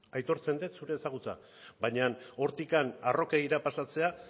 aitortzen dut zure ezagutza baina hortik harrokeriara pasatzea